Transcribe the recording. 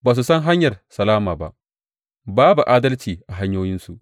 Ba su san hanyar salama ba; babu adalci a hanyoyinsu.